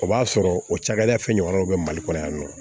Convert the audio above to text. O b'a sɔrɔ o cakɛda fɛn ɲɔgɔnnaw bɛ mali kɔnɔ yan nɔ